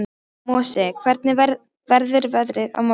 Mosi, hvernig verður veðrið á morgun?